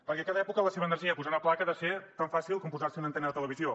perquè a cada època la seva energia i posar una placa ha de ser tan fàcil com posar se una antena de televisió